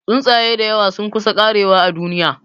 Tsuntsaye dayawa sun kusa karewa a duniya